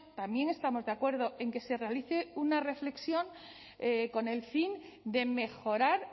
también estamos de acuerdo en que se realice una reflexión con el fin de mejorar